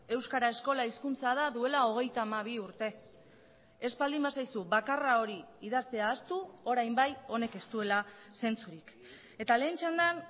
euskara eskola hizkuntza da duela hogeita hamabi urte ez baldin bazaizu bakarra hori idaztea ahaztu orain bai honek ez duela zentzurik eta lehen txandan